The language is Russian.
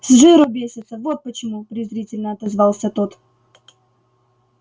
с жиру бесятся вот почему презрительно отозвался тот